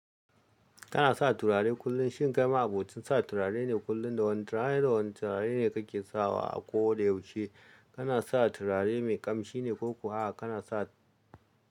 Kana sa turare kullum, shin kai ma'abocin sa turare ne kullum da wani turare da wani turare ne kake sawa a ko da yaushe? Kana sa turare mai ƙamshi ne ko kuwa kana sa.